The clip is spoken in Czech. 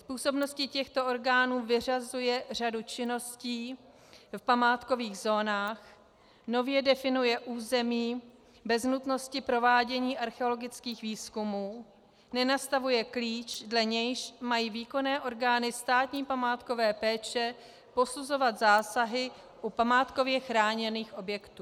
Z působnosti těchto orgánů vyřazuje řadu činností v památkových zónách, nově definuje území bez nutnosti provádění archeologických výzkumů, nenastavuje klíč, dle nějž mají výkonné orgány státní památkové péče posuzovat zásahy u památkově chráněných objektů.